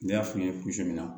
Ne y'a f'i ye kun jumɛn na